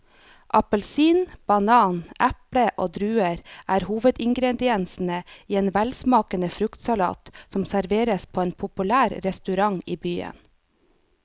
Appelsin, banan, eple og druer er hovedingredienser i en velsmakende fruktsalat som serveres på en populær restaurant i byen.